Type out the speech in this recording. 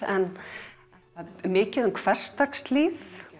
er mikið um hversdagslíf